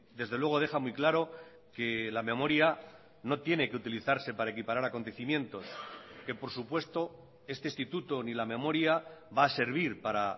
desde luego deja muy claro que la memoria no tiene que utilizarse para equiparar acontecimientos que por supuesto este instituto ni la memoria va a servir para